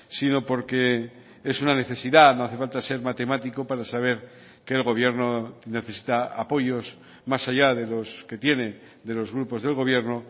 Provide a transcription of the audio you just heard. sino porque es una necesidad no hace falta ser matemático para saber que el gobierno necesita apoyos más allá de los que tiene de los grupos del gobierno